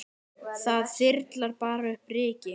Það þyrlar bara upp ryki.